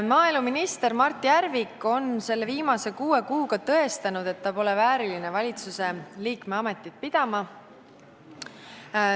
Maaeluminister Mart Järvik on viimase kuue kuuga tõestanud, et ta pole vääriline valitsuse liikme ametit pidama.